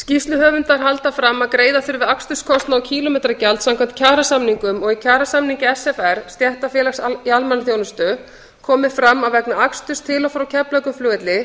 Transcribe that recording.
skýrsluhöfundar halda fram að greiða þurfi aksturskostnað og kílómetragjald samkvæmt kjarasamningum og í kjarasamningi sfr stéttarfélags í almannaþjónustu komi fram að vegna aksturs til og frá keflavíkurflugvelli